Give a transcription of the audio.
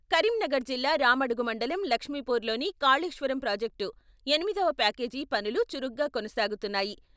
కరీంనగర్ జిల్లా రామడుగు మండలం లక్ష్మీపూర్ లోని కాళేశ్వరం ప్రాజెక్టు ఎనిమిదవ ప్యాకేజీ పనులు చురుగ్గా కొనసాగుతున్నాయి.